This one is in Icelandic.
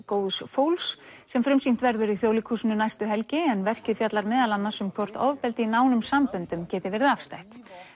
góðs fólks sem frumsýnt verður í Þjóðleikhúsinu næstu helgi en verkið fjallar meðal annars um hvort ofbeldi í nánum samböndum geti verið afstætt